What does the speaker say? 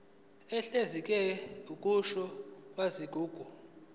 uhlinzekela ukusungulwa kwezigungu